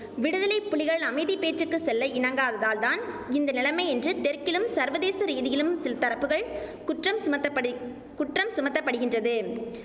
விடுதலை புலிகள் அமைதி பேச்சுக்குச் செல்ல இணங்காததால்தான் இந்த நிலமை என்று தெற்கிலும் சர்வதேச ரீதியிலும் சில் தரப்புகள் குற்றம் சுமத்தப்படி குற்றம் சுமத்தப்படிகின்றது